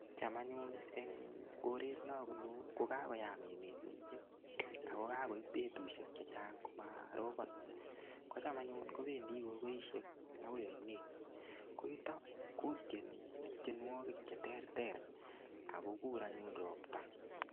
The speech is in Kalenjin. Cham anyun eng' koret nabunu kukakoyam emet mising' akokakoib betushek chechang' komarobon kocham anyun kobendi gogoishek akoi oinet ko yuto kotieni tienwokik cheterter akokur anyun ropta